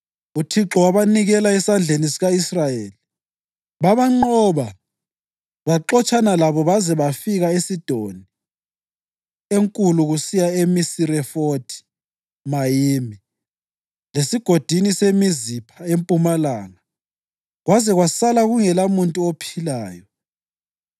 uThixo wabanikela esandleni sika-Israyeli. Babanqoba, baxotshana labo baze babafikisa eSidoni Enkulu kusiya eMisirefothi-Mayimi, leSigodini seMizipha empumalanga kwaze kwasala kungelamuntu ophilayo.